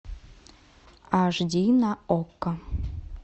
аш ди на окко